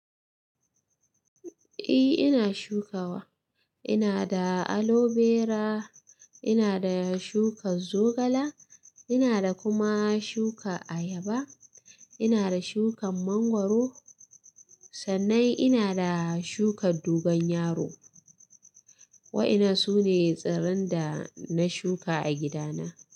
Eh ina shukawa. Ina da aloe vera, ina da shukan zogala, ina da kuma shuka ayaba, ina da shukan mangwaro. Sannan ina da shukan dogon yaro. Wa'ina sune tsiran da na shuka a gidana.